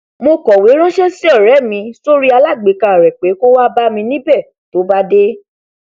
mo kọwé ranṣẹ sí ọrẹ mi sórí alágbèéká rẹ pé kó wá bámi níbẹ tó bá dé